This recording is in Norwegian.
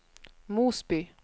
Mosby